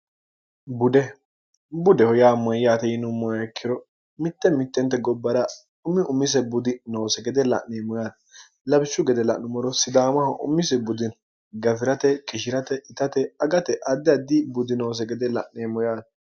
bude budeho yaa moyyaate yinummoekkiro mitte mittente gobbara umi umise budi noose gede la'neemmo yaate labishshu gede la'numoro sidaamaho umise budino gafi'rate kishirate itate agate addi addi budinoose gede la'neemmo yaate